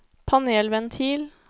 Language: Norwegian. panelventil